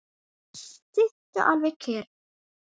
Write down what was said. Sittu alveg kyrr.